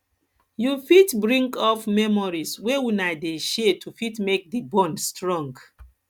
you fit bring up memories wey una dey share to fit make di bond strong